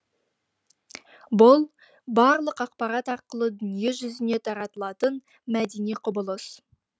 бұл барлық ақпарт арқылы дүниежүзіне таратылатын мәдени құбылыс